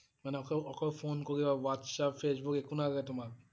মানে অক~অকল ফোন কৰিব? Whatsapp, Facebook একো নালাগে তোমাক?